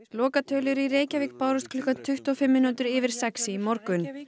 lokatölur í Reykjavík bárust klukkan tuttugu og fimm mínútur yfir sex í morgun